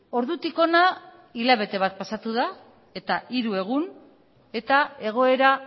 ordutik hona hilabete bat pasatu da eta hiru egun eta egoera